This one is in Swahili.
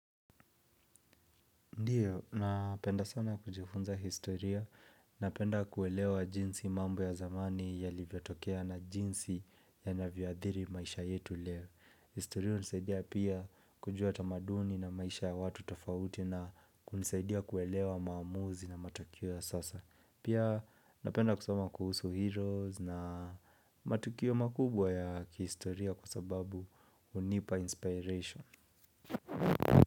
Ndio, napenda sana kujifunza historia, napenda kuelewa jinsi mambo ya zamani yalivyotokea na jinsi yanavyoadhiri maisha yetu leo. Historia hunisaidia pia kujua tamaduni na maisha ya watu tofauti na kunisaidia kuelewa maamuzi na matukio ya sasa. Pia napenda kusoma kuhusu heroes na matukio makubwa ya kihistoria kwa sababu hunipa inspiration.